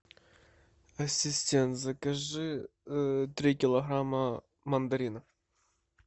ассистент закажи три килограмма мандаринов